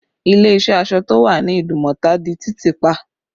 Ilé iṣẹ́ aṣọ tó wà ní Idumota di títì pa